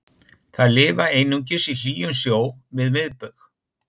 Þær lifa einungis í hlýjum sjó við miðbaug.